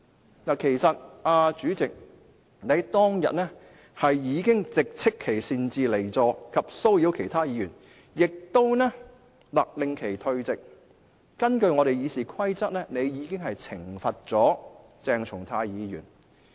主席，其實你當日已直斥其擅自離席及騷擾其他議員，亦勒令其立即退席，並根據《議事規則》懲罰了鄭松泰議員。